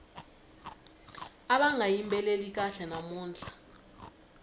ava nga yimbeleli kahle namuntlha